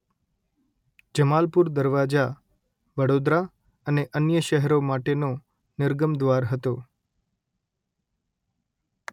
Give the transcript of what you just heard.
જમાલપુર દરવાજા - વડોદરા અને અન્ય શહેરો માટેનો નિર્ગમ દ્વાર હતો